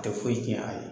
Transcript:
A tɛ foyi tiɲɛ a ye